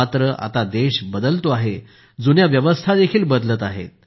मात्र आता देश बदलतो आहे जुन्या व्यवस्था देखील बदलत आहेत